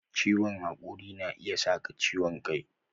Ciwon hakuri na iya saka ciwon kai